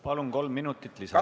Palun, kolm minutit lisaaega!